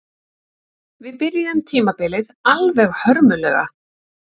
Við byrjuðum tímabilið alveg hörmulega